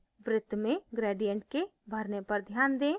वृत्त में gradient के भरने पर ध्यान दें